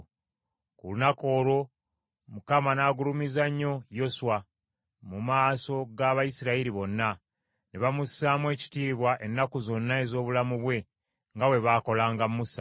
Ku lunaku olwo Mukama n’agulumiza nnyo Yoswa mu maaso g’Abayisirayiri bonna, ne bamussaamu ekitiibwa ennaku zonna ez’obulamu bwe nga bwe baakolanga Musa.